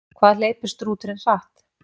Hvað hleypur strúturinn hratt?